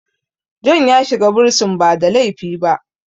John ya shiga bursin ba da laifi ba